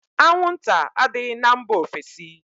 Anwụnta adịghị na mba ofesi